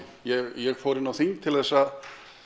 ég fór inn á þing til að